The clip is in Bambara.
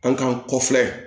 An k'an kɔ filɛ